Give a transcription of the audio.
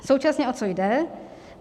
Současně o co jde?